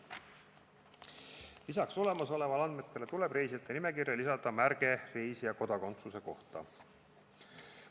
Peale olemasolevate andmete tuleb reisijate nimekirja lisada märge reisija kodakondsuse kohta.